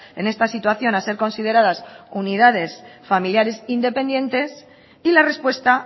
en esta situación a ser consideradas unidades familiares independientes y la respuesta